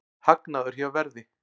Hagnaður hjá Verði